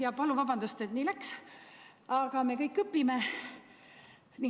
Ja palun vabandust, et nii läks, aga me kõik õpime.